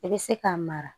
I bɛ se k'a mara